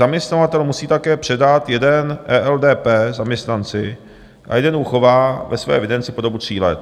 Zaměstnavatel musí také předat jeden ELDP zaměstnanci a jeden uchová ve své evidenci po dobu tří let.